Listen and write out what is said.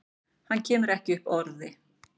Hann kemur ekki upp orði.